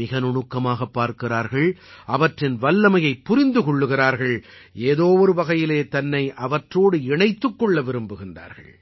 மிக நுணுக்கமாகப் பார்க்கிறார்கள் அவற்றின் வல்லமையைப் புரிந்து கொள்கிறார்கள் ஏதோ ஒரு வகையிலே தன்னை அவற்றோடு இணைத்துக் கொள்ள விரும்புகிறார்கள்